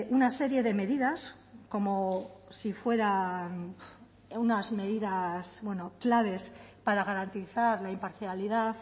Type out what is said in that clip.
una serie de medidas como si fueran unas medidas claves para garantizar la imparcialidad